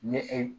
Ni e